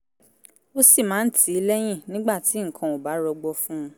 ó sì máa ń tì í lẹ́yìn nígbà tí nǹkan ò bá rọgbọ fún un